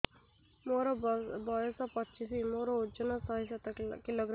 ମୋର ବୟସ ପଚିଶି ମୋର ଓଜନ ଶହେ ସାତ କିଲୋଗ୍ରାମ